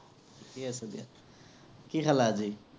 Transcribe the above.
ঠিকেই আছে দিয়া৷ কি খালা আজি?